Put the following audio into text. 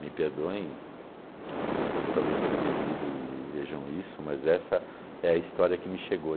Me perdoem as pessoas que talvez tenham vivido e vejam isso, mas essa é a história que me chegou.